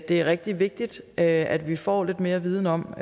er rigtig vigtigt at at vi får lidt mere viden om